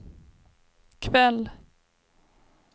kväll